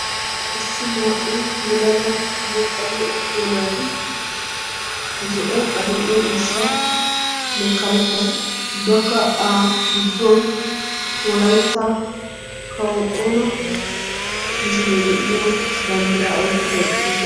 Issi naa'u maccanne attuma naati zo'o adill'e ciishshanne karetta ubbakka aafittuwan wolaytta kawo xoona misilee de'iyo banddiraa oyqqidi eqqidosona.